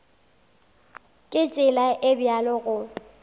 ka tsela e bjalo go